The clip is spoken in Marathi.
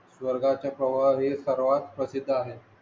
वर्गाच्या प्रवाळ हे सर्वात प्रसिद्ध आहे.